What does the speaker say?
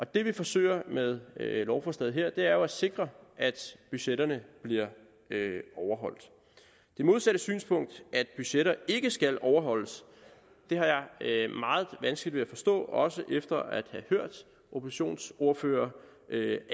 det vi forsøger med lovforslaget her er jo at sikre at budgetterne bliver overholdt det modsatte synspunkt at budgetter ikke skal overholdes har jeg meget vanskeligt ved at forstå også efter at have hørt oppositionsordførere